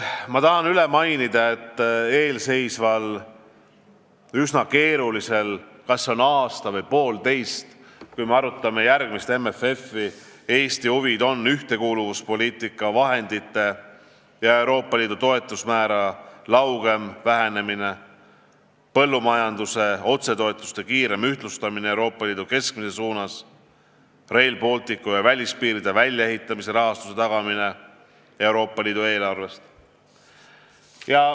Ma tahan korrata, et eelseisval üsna keerulisel perioodil, mis kestab aasta või poolteist, kui me arutame järgmist MFF-i, on Eesti huvid ühtekuuluvus, poliitikavahendite ja Euroopa Liidu toetusmäärade laugem vähenemine, põllumajanduse otsetoetuste kiirem ühtlustamine Euroopa Liidu keskmise suunas, Rail Balticu ja välispiiride väljaehitamise rahastuse tagamine, kasutades ka Euroopa Liidu eelarvet.